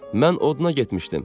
Mən oduna getmişdim.